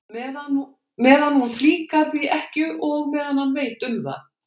Meðan hún flíkar því ekki og meðan hann veit um það.